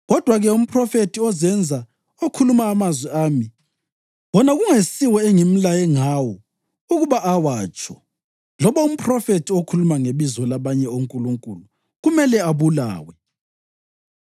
Kodwa-ke umphrofethi ozenza okhuluma amazwi ami wona kungesiwo engimlaye ngawo ukuba awatsho, loba umphrofethi okhuluma ngebizo labanye onkulunkulu, kumele abulawe.’